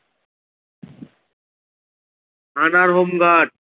Father home guard.